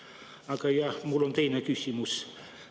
Aga jah, mul on teine küsimus.